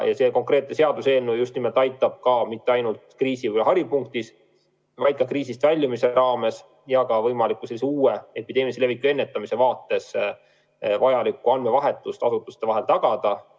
See konkreetne seaduseelnõu just nimelt aitab mitte ainult kriisi haripunktis, vaid ka kriisist väljumise ajal ja ka võimaliku uue epideemilise leviku ennetamise vaates vajaliku andmevahetuse asutuste vahel tagada.